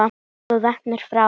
Hellið svo vatninu frá.